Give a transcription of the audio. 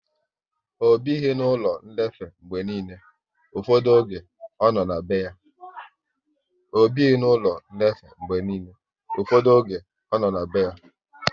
Ọ bighi n'ụlọ nlefe mgbe niile, ụfọdụ oge ọ nọ na be ya